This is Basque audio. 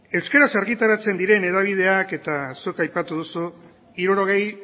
euskeraz argitaratzen diren hedabideak eta zuk aipatu duzu hirurogei